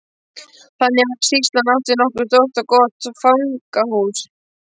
Þannig var að sýslan átti nokkuð stórt og gott fangahús.